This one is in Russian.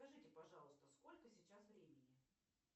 скажите пожалуйста сколько сейчас времени